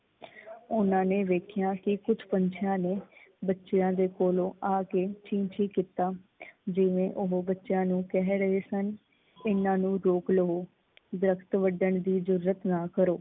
ਓਹਨਾਂ ਨੇ ਵੇਖਿਆ ਕੀ ਕੁਝ ਪੰਛੀਆਂ ਨੂੰ ਬੱਚਿਆ ਦੇ ਕੋਲੋਂ ਆਕੇ ਚੀਂ ਚੀਂ ਕੀਤਾ, ਜਿਵੇਂ ਓਹ ਬੱਚਿਆ ਨੂੰ ਕਹਿ ਰਹੇ ਸਨ ਇਹਨਾਂ ਨੂੰ ਰੋਕ ਲਵੋ। ਦਰੱਖਤ ਵੱਡਣ ਦੀ ਜੁਰਅਤ ਨਾ ਕਰੋ।